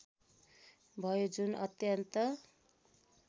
भयो जुन अत्यन्त